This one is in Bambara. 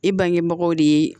E bangebagaw de ye